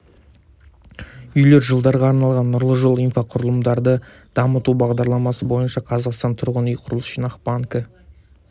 үйлер жылдарға арналған нұрлы жол инфрақұрылымды дамыту бағдарламасы бойынша қазақстан тұрғын үй құрылыс жинақ банкі